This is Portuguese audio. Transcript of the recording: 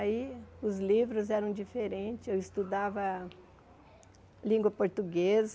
Aí, os livros eram diferentes, eu estudava língua portuguesa,